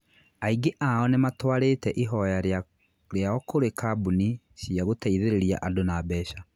Aingĩ ao nĩ matwarĩte ihoya rĩao kũrĩ kambuni cia gũteithĩrĩria andũ na mbeca.